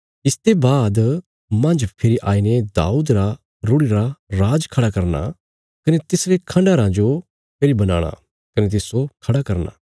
इसते बाद मांज फेरी आईने दाऊद रा रूढ़िरा राज खड़ा करना कने तिसरे खण्डहराँ जो फेरी बनाणा कने तिस्सो खड़ा करना